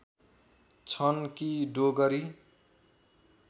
छन् कि डोगरी